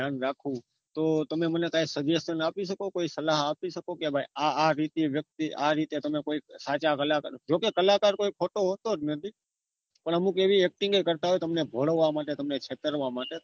ધ્યાન રાખવું તો મને કાઈ suggestion આપી શકો કોઈ સલાહ આપી શકો કે ભાઈ આ આ રીતે વ્યક્તિ આ રીતે તમે કોઈ સાચા કલાકાર જો કે કલાકાર કોઈ ખોટો હોતો જ નથી પણ અમુક એવી acting એ કરતા હોય કે તમને ભોડવવા માટે તમને છેતરવા માટે